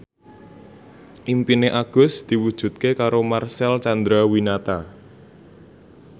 impine Agus diwujudke karo Marcel Chandrawinata